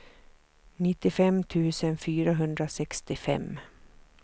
nittiofem tusen fyrahundrasextiofem